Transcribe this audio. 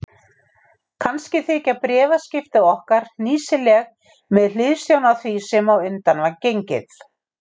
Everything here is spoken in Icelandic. Kannski þykja bréfaskipti okkar hnýsileg með hliðsjón af því sem á undan var gengið.